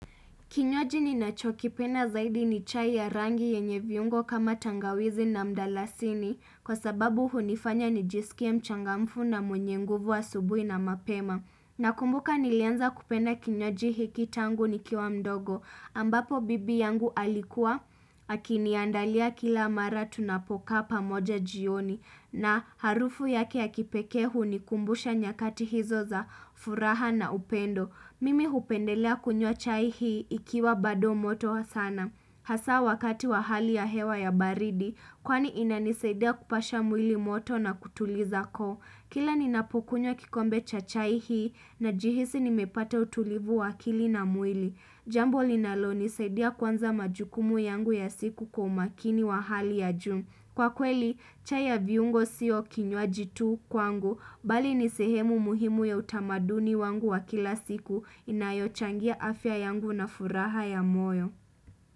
Kinywaji ninacho kipenda zaidi ni chai ya rangi yenye viungo kama tangawizi na mdalasini kwa sababu hunifanya nijisikia mchangamfu na mwenye nguvu asubuhi na mapema. Nakumbuka nilianza kupenda kinywaji hiki tangu nikiwa mdogo ambapo bibi yangu alikuwa akiniandalia kila mara tunapokaa pamoja jioni na harufu yake ya kipekee hunikumbusha nyakati hizo za furaha na upendo. Mimi hupendelea kunywa chai hii ikiwa bado moto sana. Hasa wakati wa hali ya hewa ya baridi, kwani inanisaidia kupasha mwili moto na kutuliza koo. Kila ninapukunywa kikombe cha chai hii najihisi nimepata utulivu wa akili na mwili. Jambo linalo nisaidia kuanza majukumu yangu ya siku kwa umakini wa hali ya juu. Kwa kweli, chai ya viungo sio kinywaji tu kwangu, bali nisehemu muhimu ya utamaduni wangu wa kila siku inayochangia afya yangu na furaha ya moyo.